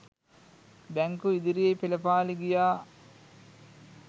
බැංකු ඉදිරියේ පෙළපාළි ගියා.